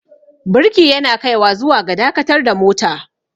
birki yana kaiwa zuwa ga dakatar da mota